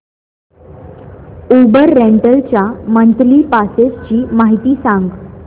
Uber rental च्या monthly passes ची माहिती सांग